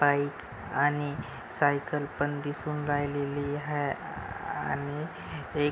bike आणि cycle पण दिसून राहिलेली आहे आणि हे --